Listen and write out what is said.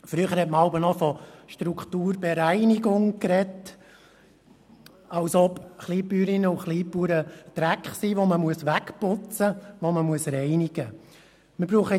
Früher sprach man noch von «Strukturbereinigung», als ob Kleinbäuerinnen und -bauern Dreck wären, den man wegputzen, reinigen müsste.